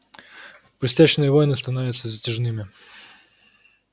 пустячные войны становятся затяжными